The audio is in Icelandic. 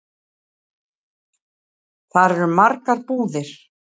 Þar eru margar búðir.